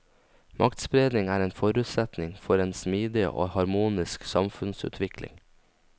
Maktspredning er en forutsetning for en smidig og harmonisk samfunnsutvikling.